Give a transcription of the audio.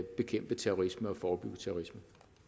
bekæmpe terrorisme og forebygge terrorisme